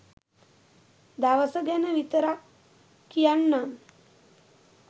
දවස ගැන විතරක් කියන්නම්